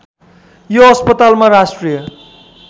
यो अस्पतालमा राष्ट्रिय